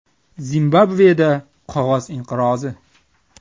Zimbabveda qog‘oz inqirozi.